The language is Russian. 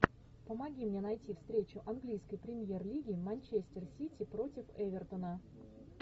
помоги мне найти встречу английской премьер лиги манчестер сити против эвертона